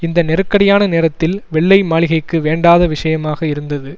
இந்த நெருக்கடியான நேரத்தில் வெள்ளை மாளிகைக்கு வேண்டாத விஷயமாக இருந்தது